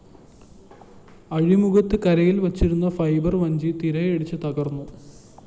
അഴിമുഖത്ത് കരയില്‍ വച്ചിരുന്ന ഫൈബർ വഞ്ചി തിരയടിച്ച് തകര്‍ന്നു